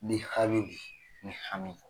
Ni hami bi yen, mi hami